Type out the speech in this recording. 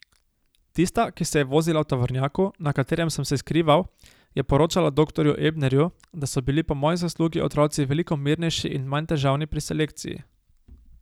Tista, ki se je vozila v tovornjaku, na katerem sem se skrival, je poročala doktorju Ebnerju, da so bili po moji zaslugi otroci veliko mirnejši in manj težavni pri selekciji.